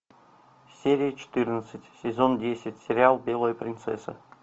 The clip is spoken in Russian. серия четырнадцать сезон десять сериал белая принцесса